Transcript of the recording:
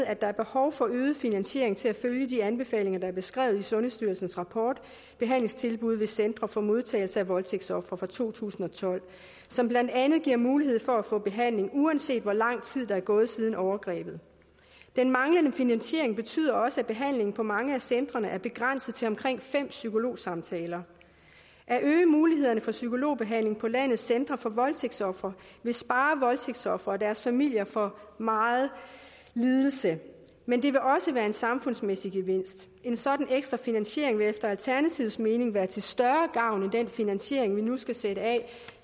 at der er behov for øget finansiering til at følge de anbefalinger der er beskrevet i sundhedsstyrelsens rapport behandlingstilbud ved centre for modtagelse af voldtægtsofre fra to tusind og tolv som blandt andet giver mulighed for at få behandling uanset hvor lang tid der er gået siden overgrebet den manglende finansiering betyder også at behandlingen på mange af centrene er begrænset til omkring fem psykologsamtaler at øge mulighederne for psykologbehandling på landets centre for voldtægtsofre vil spare voldtægtsofre og deres familier for meget lidelse men det vil også være en samfundsmæssig gevinst en sådan ekstra finansiering vil efter alternativets mening være til større gavn end den finansiering vi nu skal sætte af